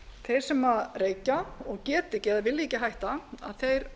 þeir sem reykja og geta ekki eða vilja ekki hætta þeir